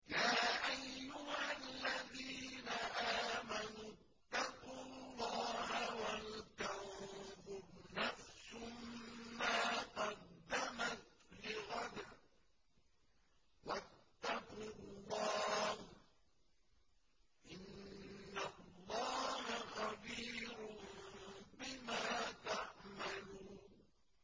يَا أَيُّهَا الَّذِينَ آمَنُوا اتَّقُوا اللَّهَ وَلْتَنظُرْ نَفْسٌ مَّا قَدَّمَتْ لِغَدٍ ۖ وَاتَّقُوا اللَّهَ ۚ إِنَّ اللَّهَ خَبِيرٌ بِمَا تَعْمَلُونَ